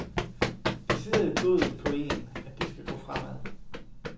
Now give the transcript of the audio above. Det sidder i blodet på en, at det skal gå fremad.